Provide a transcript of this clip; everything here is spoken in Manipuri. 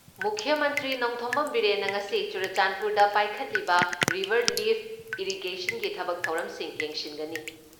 ꯃꯨꯈ꯭ꯌ ꯃꯟꯇ꯭ꯔꯤ ꯅꯣꯡꯊꯣꯝꯕꯝ ꯕꯤꯔꯦꯟꯅ ꯉꯁꯤ ꯆꯨꯔꯆꯥꯟꯗꯄꯨꯔꯗ ꯄꯥꯏꯈꯠꯂꯤꯕ ꯔꯤꯚꯔ ꯂꯤꯐ ꯏꯔꯤꯒꯦꯔꯟꯒꯤ ꯊꯕꯛ ꯊꯧꯔꯝꯁꯤꯡ ꯌꯦꯡꯁꯤꯟꯒꯅꯤ ꯫